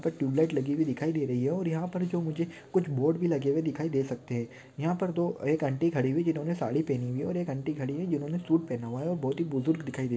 tubelight लगी हुई दिखाई दे रही है और यहा पर जो मुझे कुछ बोर्ड भी लगे हुए दिखाई दे सकते है यहा पर दो एक आंटी खड़ी हुई जिन्होने साड़ी पहनी हुई है और एक आंटी खड़ी हुई है जिन्होने सूट पहना हुआ है और बहुत है बुजुर्ग दिखाई दे--